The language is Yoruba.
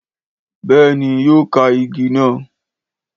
Béèni yóò ka igi na